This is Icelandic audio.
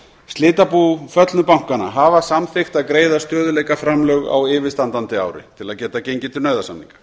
slitabú föllnu bankanna hafa samþykkt að greiða stöðugleikaframlög á yfirstandandi ári til að geta gengið til nauðasamninga